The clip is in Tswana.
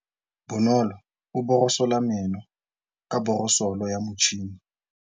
Bonolô o borosola meno ka borosolo ya motšhine.